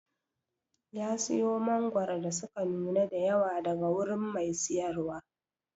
ya siyo mangoro da suka nuna da yawa daga wurin Mai siyarwa.